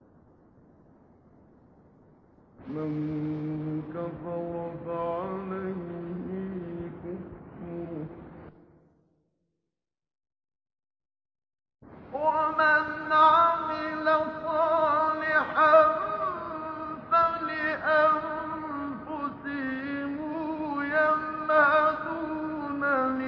مَن كَفَرَ فَعَلَيْهِ كُفْرُهُ ۖ وَمَنْ عَمِلَ صَالِحًا فَلِأَنفُسِهِمْ يَمْهَدُونَ